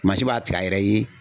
Mansin b'a tigɛ a yɛrɛ ye .